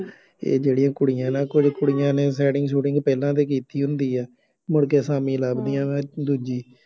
ਇਹ ਜਿਹੜੀਆਂ ਕੁੜੀਆਂ ਨਾ, ਕੁੱਝ ਕੁੜੀਆਂ ਨੇ setting ਸੂਟਿੰਗ ਪਹਿਲਾਂ ਤੋਂ ਕੀਤੀ ਹੁੰਦੀ ਹੈ, ਮੁੜ ਕੇ ਆਸਾਮੀ ਲੱਭਦੀਆਂ ਵ, ਦੂਜੀ